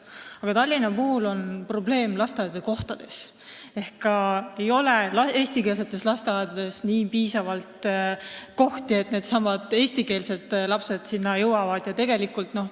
Aga Tallinna puhul on probleemiks lasteaiakohad: eestikeelsetes lasteaedades pole piisavalt kohti, et eesti lapsedki sinna minna saaksid.